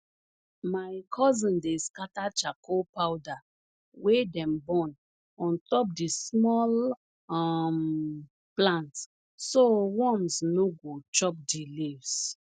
my cousin dey scatter charcoal powder wey dem burn on top di small um plants so worms no go chop di leaves